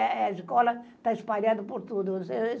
A escola está espalhada por tudo.